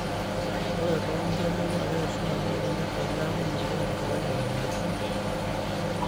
ore too nkere naa keishunye ena moyian teneeku megira enkerai abulu